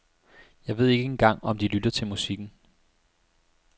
Jeg ved ikke engang om de lytter til musikken.